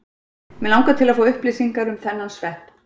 mig langar til að fá upplýsingar um þennan svepp